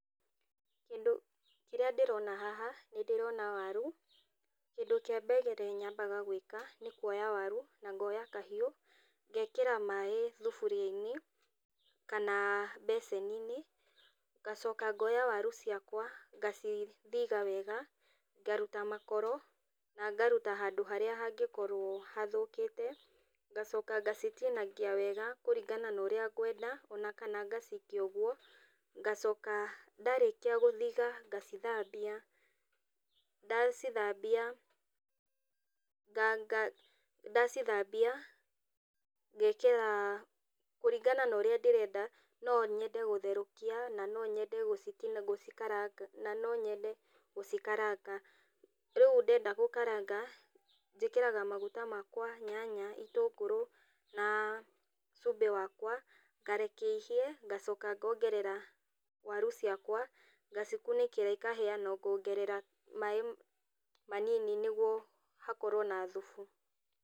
Kĩndũ kĩrĩa ndĩrona haha nĩ ndĩrona waru. Kĩndũ kĩa mbere nyambaga gwĩka nĩ kuoya waru na ngoya kahiũ, ngekĩra maĩ thuburia-inĩ kana mbeceni-inĩ, ngacoka ngoya waru ciakwa ngacithitha wega ngaruta makoro na ngaruta handũ harĩa hangĩkorũo hathũkĩte. Ngacoka ngacitinangia wega kũringana na ũrĩa ngwenda ona kana ngacikia ũguo. Ngacoka ndarĩkia gũthitha ngacithambia, ndacithambia ngekĩra kũringana na ũrĩa ndĩrenda, no nyende gũtherũkia na no nyende gũcikaranga. Rĩu ndenda gũkaranga, njĩkĩraga maguta makwa, nyanya, itũngũrũ na cumbĩ wakwa, ngareke ihĩe ngacoka ngongerera waru ciakwa, ngacikunĩkĩra ikahĩa, na ngongerera maĩ manini nĩguo hakorũo na thubu.